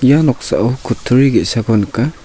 ia noksao kutturi ge·sako nika.